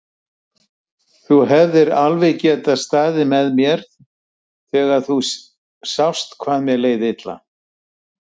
Þú hefðir alveg getað staðið með mér þegar þú sást hvað mér leið illa.